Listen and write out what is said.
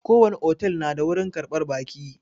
Ko wani otel na da wurin ƙarɓar baƙi